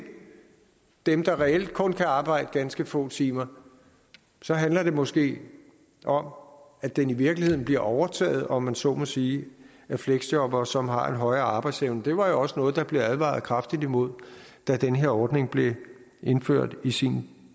dem der reelt kun kan arbejde ganske få timer så handler det måske om at den i virkeligheden bliver overtaget om man så må sige af fleksjobbere som har en højere arbejdsevne det var jo også noget der blev advaret kraftigt imod da den her ordning blev indført i sin